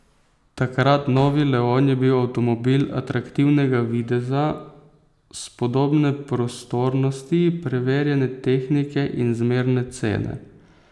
Takrat novi leon je bil avtomobil atraktivnega videza, spodobne prostornosti, preverjene tehnike in zmerne cene.